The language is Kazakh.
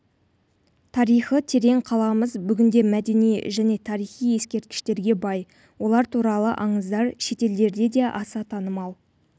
тарихы терең қаламыз бүгінде мәдени және тарихи ескерткіштерге бай олар туралы аңыздар шетелдерде де аса танымал